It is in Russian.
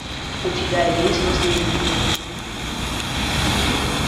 у тебя есть наследники